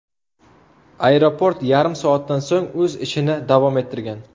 Aeroport yarim soatdan so‘ng o‘z ishini davom ettirgan.